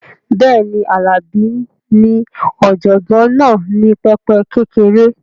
Bẹ́ẹ̀ni, Alabi ní ọ̀jọ̀gbọ́n náà ní pẹpẹ kékeré